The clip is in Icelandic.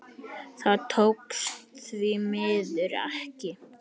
Það tókst því miður ekki.